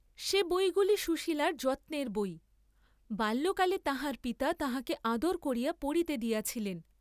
সে বইগুলি সুশীলার যত্নের বই, বাল্যকালে তাঁহার পিতা তাঁহাকে আদর করিয়া পড়িতে দিয়াছিলেন।